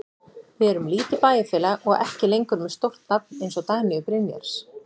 Við erum lítið bæjarfélag og ekki lengur með stórt nafn eins og Dagnýju Brynjars.